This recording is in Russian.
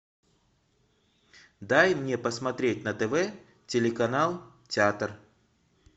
дай мне посмотреть на тв телеканал театр